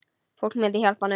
Fólk myndi hjálpa honum.